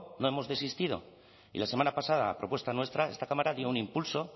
no hemos desistido y la semana pasada a propuesta nuestra esta cámara dio un impulso